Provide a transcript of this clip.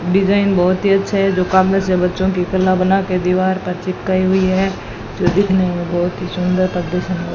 design बहुत ही अच्छा है जो काम में से बच्चों की कला बनाकर दीवार पर चिपकाई हुई है जो दिखने में बहुत ही सुंदर--